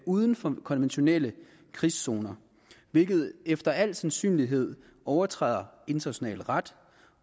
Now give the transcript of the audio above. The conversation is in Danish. uden for konventionelle krigszoner hvilket efter al sandsynlighed overtræder international ret